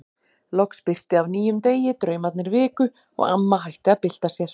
Loks birti af nýjum degi, draumarnir viku og amma hætti að bylta sér.